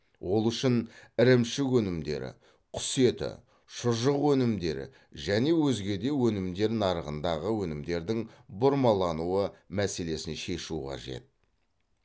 ол үшін ірімшік өнімдері құс еті шұжық өнімдері және өзге де өнімдер нарығындағы өнімдердің бұрмалануы мәселесін шешу қажет